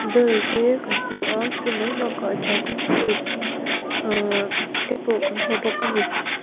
dawl te kan hmu a chu mai bakah dragon fruits ahh te pawh kan hmu bawk a ni.